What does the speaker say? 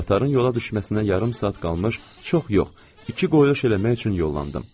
Qatarın yola düşməsinə yarım saat qalmış çox yox, iki quldən çevirmək üçün yollandım.